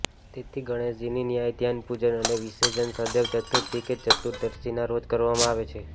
તેથી ગણેશજીની ન્યાસ ધ્યાન પૂજન અને વિસર્જન સદૈવ ચતુર્થી કે ચતુર્દશીના રોજ કરવામાં આવે છે